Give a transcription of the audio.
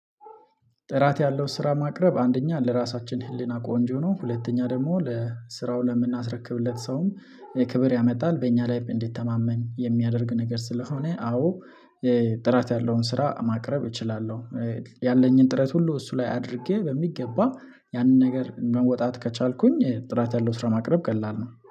ጥራት ያለው ስራ ማቅረብ አንደኛ ለራሳችን ህሊና ቆንጆ ነው ሁለተኛ ደግሞ ለስራው ለምናስረክብለት ሰውም ክብር ያመጣል በእኛ ላይ እንዲተማመን የሚያደርግ ነገር ስለሆነ አዎ ጥራት ያለውን ስራ ማቅረብ እችላለሁ። ያለኝን ጥረት ሁሉ እሱ ላይ አድርጌ በሚገባ ያንን ነገር መወጣት ከቻልኩኝ ጥራት ያለው ስራ ማቅረብ ቀላል ነው